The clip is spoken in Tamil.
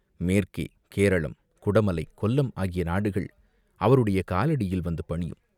மேற்கே, கேரளம், குடமலை, கொல்லம் ஆகிய நாடுகள் அவருடைய காலடியில் வந்து பணியும்.